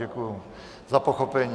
Děkuji za pochopení.